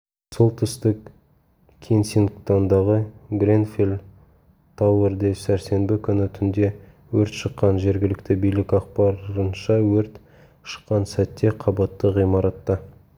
солтүстік кенсингтондағы гренфелл-тауэрде сәрсенбі күні түнде өрт шыққан жергілікті билік ақпарынша өрт шыққан сәтте қабатты ғимаратта